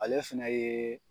Ale fɛnɛ yee